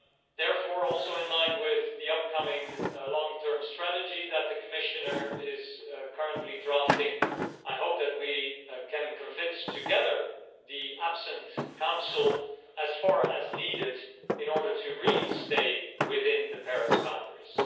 Therefore, also in line with the upcoming long term strategy that the Commissioner is currently drafting, I hope that we can convince together the absent Council as far as needed in order to really stay within the Paris boundaries.